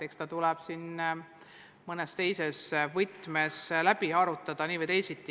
Eks see tuleb siis mõnes teises võtmes siin läbi arutada nii või teisiti.